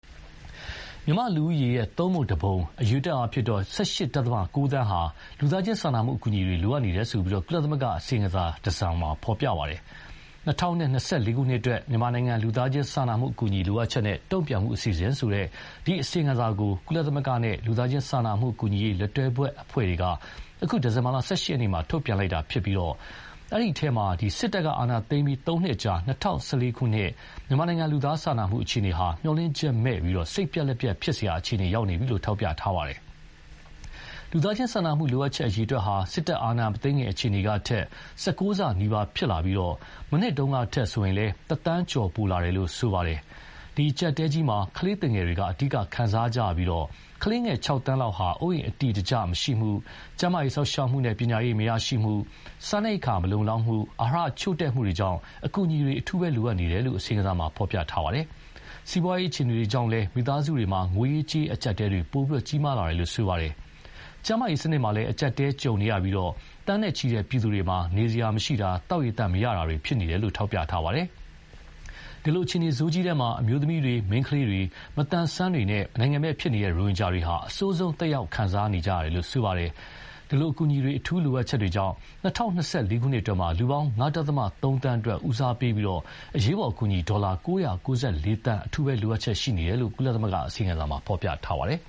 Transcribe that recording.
မြန်မာ့လူဦးရေရဲ့ သုံးပုံတပုံ - အရေအတွက်အားဖြင့် ၁၈.၉ သန်းဟာ လူသားချင်းစာနာမှုအကူအညီတွေ လိုအပ်နေတယ်လို့ ကုလသမဂ္ဂအစီရင်ခံစာတရပ်မှာ ဖော်ပြပါတယ်။ ‘၂၀၂၄ ခုနှစ်အတွက် မြန်မာနိုင်ငံလူသားချင်းစာနာမှုအကူအညီလိုအပ်ချက်နဲ့ တုံ့ပြန်မှုအစီအစဉ်’ ဆိုတဲ့ အစီရင်ခံစာကို ကုလသမဂ္ဂနဲ့ လူသားချင်းစာနာမှုကူညီရေးလက်တွဲဘက်အဖွဲ့တွေက အခု ဒီဇင်ဘာ ၁၈ ရက်နေ့ ထုတ်ပြန်လိုက်တာဖြစ်ပြီး အဲဒီအထဲမှာတော့ စစ်တပ်ကအာဏာသိမ်းပြီးသုံးနှစ်အကြာ ၂၀၁၄ ခုနှစ် မြန်မာနိုင်ငံလူသားစာနာမှုအခြေအနေဟာ မျှော်လင့်ချက်မဲ့ စိတ်ပျက်လက်ပျက်ဖြစ်စရာ ဖြစ်နေပြီလို့ ထောက်ပြထားပါတယ်။ လူသားချင်းစာနာမှုလိုအပ်ချက် အရေအတွက်ဟာ စစ်တပ်အာဏာမသိမ်းခင်အခြေအနေကထက် ၁၉ ဆနီးပါးဖြစ်လာပြီး မနှစ်တုန်းကထက်ဆိုရင်လည်း တသန်းကျော်ပိုလာတယ်လို့ ဆိုပါတယ်။ ဒီအကြပ်အတည်းကြီးမှာ ကလေးသူငယ်တွေ အဓိက ခံစားကြရပြီး ကလေးငယ် ၆ သန်းလောက်ဟာ အိုးအိမ်အတည်တကျမရှိမှု၊ ကျန်းမာရေးစောင့်ရှောက်မှုနဲ့ပညာရေး မရရှိမှု၊ စားနိပ်ရိက္ခာမလုံလောက်မှု၊ အာဟာရချို့တဲ့မှုတွေကြောင့် အကူအညီတွေ လိုအပ်နေတယ်လို့ အစီရင်ခံစာမှာဖော်ပြပါတယ်။ စီးပွားရေးအခြေအနေတွေကြောင့်လည်း မိသားစုတွေမှာ ငွေရေးကြေးရေးအကျပ်အတည်းတွေကြီးလာတယ်လို့ဆိုပါတယ်။ ကျန်းမာရေးစနစ်မှာလည်း အကျပ်အတည်းကြုံနေရပြီး သန်းနဲ့ချီတဲ့ပြည်သူတွေမှာ နေစရာမရှိတာ၊ သောက်ရေသန့်မရရှိတာတွေ ဖြစ်နေတယ်လို့ ဖော်ပြပါတယ်။ ဒီလိုအခြေအနေဆိုးကြီးထဲမှာ အမျိုးသမီးတွေ၊ မိန်းကလေးတွေ၊ မသန်စွမ်းတွေနဲ့ နိုင်ငံမဲ့ဖြစ်နေတဲ့ရိုဟင်ဂျာတွေဟာ အဆိုးဆုံးသက်ရောက်မှုခံစားကြရတယ်လို့ ဆိုပါတယ်။ ဒီလို အကူအညီတွေ အထူးလိုအပ်ချက်တွေကြောင့် ၂၀၂၄ ခုနှစ်အတွင်းမှာ လူပေါင်း ၅.၃ သန်းအတွက် ဦးစားပေးပြီးအရေးပေါ်အကူအညီ ဒေါ်လာ ၉၉၄ သန်း အထူးလိုအပ်ချက်ရှိနေတယ်လို့ ကုလသမဂ္ဂအစီရင်ခံစာမှာဖော်ပြပါတယ်